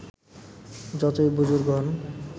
যতই বুজুর্গ হন